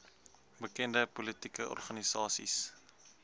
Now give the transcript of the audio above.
bekende politieke organisasies